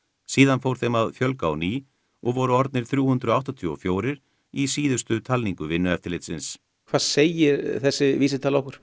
síðan fór þeim að fjölga á ný og voru orðnir þrjú hundruð áttatíu og fjögur í síðustu talningu Vinnueftirlitsins hvað segir þessi vísitala okkur